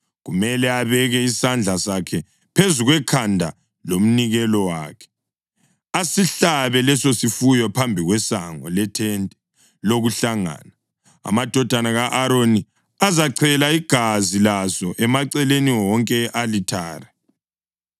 Kumele abeke isandla sakhe phezu kwekhanda lomnikelo wakhe, asihlabe lesosifuyo phambi kwesango lethente lokuhlangana. Amadodana ka-Aroni azachela igazi laso emaceleni wonke e-alithare.